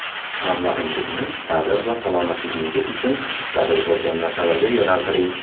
Mablag‘ingizni ta’lim va salomatligingiz uchun zarur bo‘lgan narsalarga yo‘naltiring.